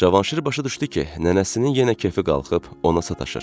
Cavanşir başa düşdü ki, nənəsinin yenə kefi qalxıb ona sataşır.